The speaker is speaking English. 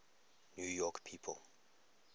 new york people